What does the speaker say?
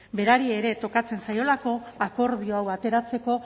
berari ere tokatzen zaielako akordio hau ateratzeko